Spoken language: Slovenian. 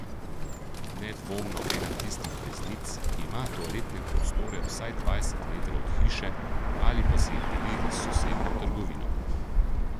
Nedvomno ena tistih beznic, ki ima toaletne prostore vsaj dvajset metrov od hiše ali pa si jih deli s sosednjo trgovino.